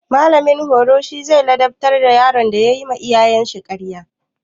Mallamin horo zai ladabtar da yaron da yayi ma iyayensa ƙarya.